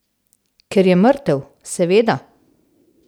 Ker je mrtev, seveda!